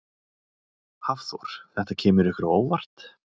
Hafþór: Þetta kemur ykkur á óvart?